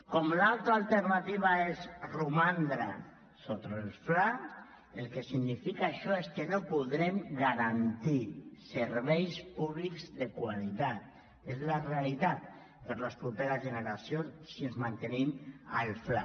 com l’altra alternativa és romandre sota el fla el que significa això és que no podrem garantir serveis públics de qualitat és la realitat per les properes generacions si ens mantenim al fla